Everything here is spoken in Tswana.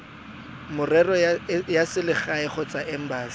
merero ya selegae kgotsa embasi